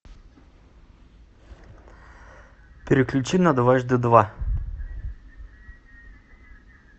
переключи на дважды два